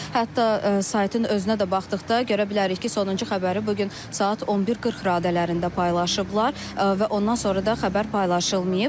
Hətta saytın özünə də baxdıqda görə bilərik ki, sonuncu xəbəri bu gün saat 11:40 radələrində paylaşıblar və ondan sonra da xəbər paylaşılmayıb.